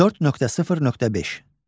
4.0.5.